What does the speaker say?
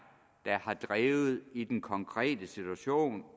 der har drevet det i den konkrete situation